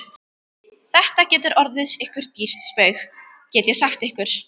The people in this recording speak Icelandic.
Þetta getur orðið ykkur dýrt spaug, get ég sagt ykkur!